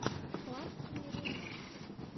классные ремиксы